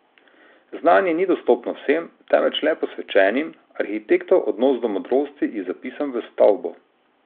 Znanje ni dostopno vsem, temveč le posvečenim, arhitektov odnos do modrosti je zapisan v stavbo.